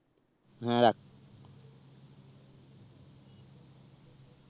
হেঁ রাখ